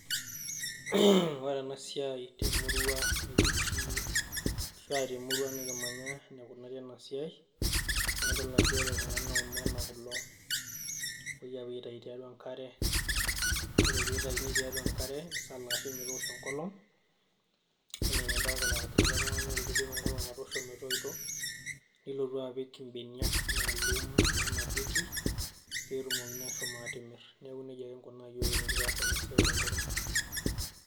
Ore enasiai temurua nikitii ashua temurua nikimanya enikunari enasiai, na idol ajo ore kuna na omena kulo. Epoi apuo aitayu tiatua enkare, ore pitayuni tiatua enkare nisalaashi metoosho enkolong, enenidolta neesita ele tung'ani, ore pidip enkolong ataasho metoito, nilotu apik ibeniak maalum nanapieki, petumokini ashomo atimir. Neeku nejia kinkunaa yiok enikipuo aas enasiai tenkop ang.